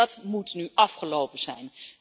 Dat moet nu afgelopen zijn.